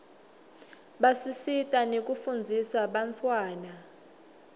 basisita nekufundzisa bantfwana